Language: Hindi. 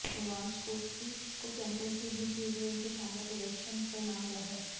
लेवांडोव्स्की को चैंपियंस लीग में किए उनके शानदार प्रदर्शन का इनाम मिला है